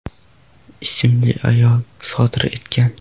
ismli ayol sodir etgan.